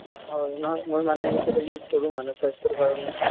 হয়, নহয় মই মানে সেইকেইটা use কৰো মানে স্বাস্থ্যৰ কাৰণে |